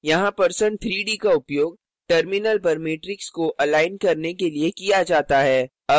यहाँ percent 3d का उपयोग terminal पर matrix के अलाइन के लिए किया जाता है